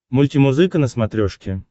мультимузыка на смотрешке